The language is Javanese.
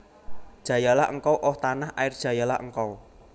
Jayalah engkau Oh tanah air jayalah engkau